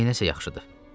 Neyləsə yaxşıdır?